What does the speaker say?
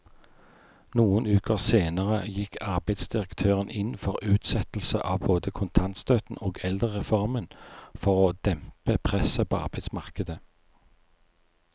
Noen uker senere gikk arbeidsdirektøren inn for utsettelse av både kontantstøtten og eldrereformen for å dempe presset på arbeidsmarkedet.